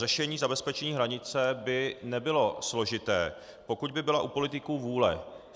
Řešení zabezpečení hranice by nebylo složité, pokud by byla u politiků vůle.